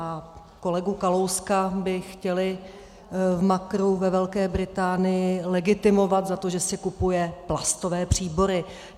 A kolegu Kalouska by chtěli v Makru ve Velké Británii legitimovat za to, že si kupuje plastové příbory.